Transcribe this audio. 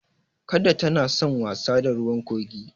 Kada tana san wasa da ruwan kogi.